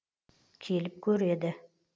келіп көреді